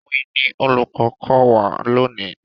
Òwe ni olùkọ́ ń kọ́ wa lónìí.